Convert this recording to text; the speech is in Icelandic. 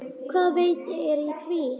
Hvaða vit er í því?